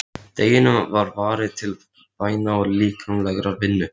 Deginum var varið til bæna og líkamlegrar vinnu.